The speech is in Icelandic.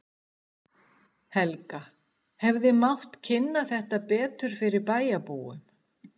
Helga: Hefði mátt kynna þetta betur fyrir bæjarbúum?